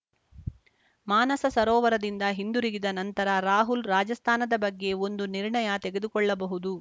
ಮಾನಸ ಸರೋವರದಿಂದ ಹಿಂದುರುಗಿದ ನಂತರ ರಾಹುಲ ರಾಜಸ್ಥಾನದ ಬಗ್ಗೆ ಒಂದು ನಿರ್ಣಯ ತೆಗೆದುಕೊಳ್ಳಬಹುದು